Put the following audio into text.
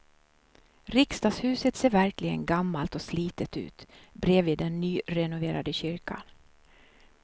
Riksdagshuset ser verkligen gammalt och slitet ut bredvid den nyrenoverade kyrkan.